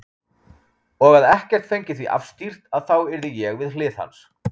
Og að ekkert fengi því afstýrt að þá yrði ég við hlið hans.